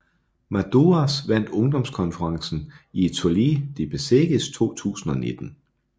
Madouas vandt ungdomskonkurrencen i Étoile de Bessèges 2019